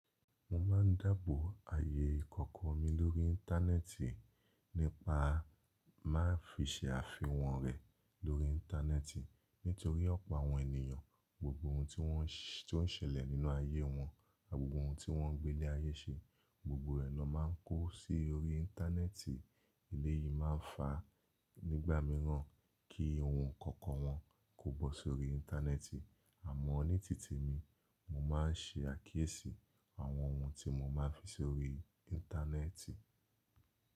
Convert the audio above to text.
Mo máa ń dábò ayé kankan mi lórí íńtánẹ́ẹ̀tì nípa má fi ṣe àfihàn rẹ̀ lórí íńtánẹ́ẹ̀tì nítorí ọ̀pọ̀ àwọn ènìyàn, gbogbo ohun tí wọ́n ṣé lè nínú ayé wọn, gbogbo ohun tí wọ́n gbé lé ayé ṣe, gbogbo ẹnọ máa ń kó sí orí íńtánẹ́ẹ̀tì. Èyí máa ń fá nígbà míràn kí ohun kankan wọn kó bọ́ sórí íńtánẹ́ẹ̀tì. Àmọ́ ní tìtì mi, mo ma n ṣe àkíyèsí àwọn ohun tí mo ma n fi sórí íńtánẹ́ẹ̀tì.